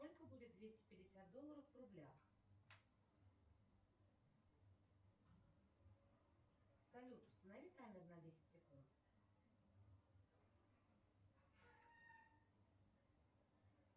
сколько будет двести пятьдесят долларов в рублях салют установи таймер на десять секунд